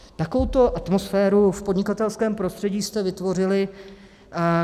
Takovouto atmosféru v podnikatelském prostředí jste vytvořili.